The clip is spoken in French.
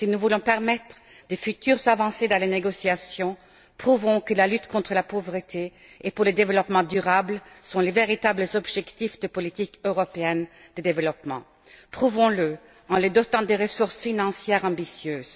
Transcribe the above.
Si nous voulons permettre de futures avancées dans les négociations, prouvons que la lutte contre la pauvreté et pour le développement durable est le véritable objectif de la politique européenne du développement. Prouvons le en dotant cette politique de ressources financières ambitieuses.